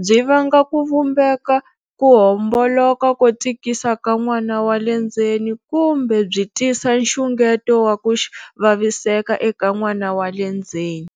byi vanga ku vumbeka ko homboloka ko tikisa ka n'wana wa le ndzeni kumbe byi tisa nxungeto wa ku vaviseka eka n'wana wa le ndzeni.